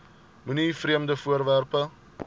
moenie vreemde voorwerpe